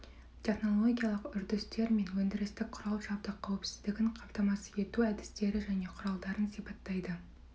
технологиялық үрдістер мен өндірістік құрал-жабдық қауіпсіздігін қамтамасыз ету әдістері және құралдарын сипаттайды